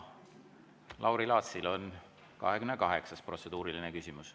Lauri Laatsil on 28. protseduuriline küsimus.